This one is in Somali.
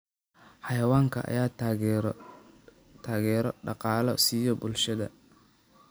Xayawaankan ayaa taageero dhaqaale siiya bulshada.